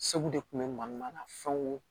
Segu de kun bɛ mankan na fɛnw